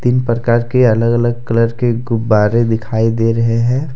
तीन प्रकार के अलग अलग कलर के गुब्बारे दिखाई दे रहे है।